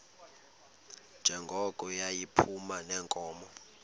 njengoko yayiphuma neenkomo